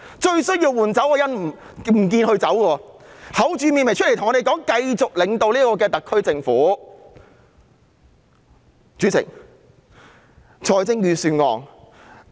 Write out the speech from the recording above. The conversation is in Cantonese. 最需要換走的人不走，還厚着臉皮出來告訴我們她會繼續領導特區政府。